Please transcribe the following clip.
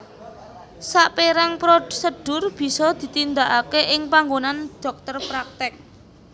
Saperang prosedur bisa ditindakake ing panggonan dhokter praktek